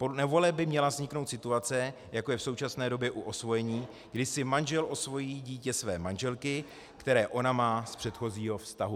Podle novely by měla vzniknout situace, jako je v současné době u osvojení, kdy si manžel osvojí dítě své manželky, které ona má z předchozího vztahu.